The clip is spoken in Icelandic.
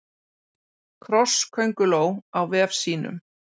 Krosskönguló í vef sínum.